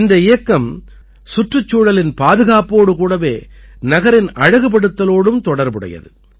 இந்த இயக்கம் சுற்றுச்சூழலின் பாதுகாப்போடு கூடவே நகரின் அழகுபடுத்தலோடும் தொடர்புடையது